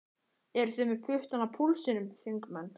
Eru þið með puttann á púlsinum, þingmenn?